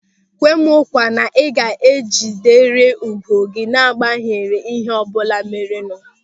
Kwe mụ nkwa na ịga ejiderịrị ùgwù gị n'agbanyeghị ịhe ọbụla merenụ!